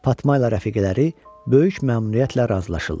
Fatma ilə rəfiqələri böyük məmnuniyyətlə razılaşırlar.